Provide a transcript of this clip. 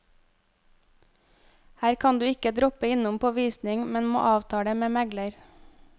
Her kan du ikke droppe innom på visning, men må avtale med megler.